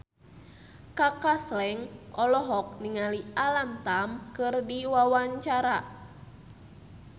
Kaka Slank olohok ningali Alam Tam keur diwawancara